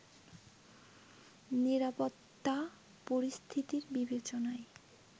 নিরাপত্তা পরিস্থিতির বিবেচনায়